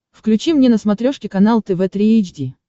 включи мне на смотрешке канал тв три эйч ди